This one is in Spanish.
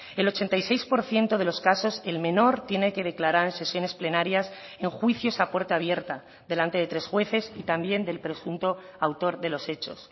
el ochenta y seis por ciento de los casos el menor tiene que declarar en sesiones plenarias en juicios a puerta abierta delante de tres jueces y también del presunto autor de los hechos